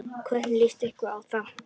Hvernig líst ykkur á það?